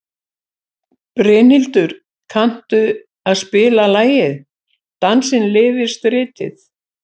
Brynhildur, kanntu að spila lagið „Dansinn lifir stritið“?